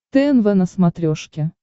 тнв на смотрешке